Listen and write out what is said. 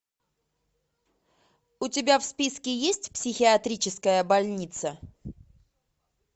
у тебя в списке есть психиатрическая больница